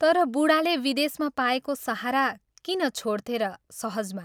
" तर बूढाले विदेशमा पाएको सहारा किन छोड्थे र सहजमा।